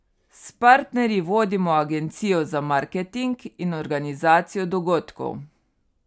S partnerji vodimo agencijo za marketing in organizacijo dogodkov.